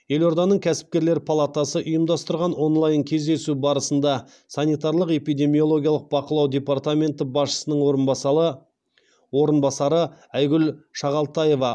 елорданың кәсіпкерлер палатасы ұйымдастырған онлайн кездесу барысында санитарлық эпидемиологиялық бақылау департаменті басшысының орынбасары айгүл шағалтаева